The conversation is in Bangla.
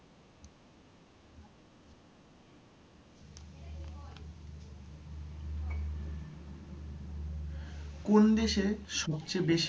কোন দেশে সবচেয়ে বেশি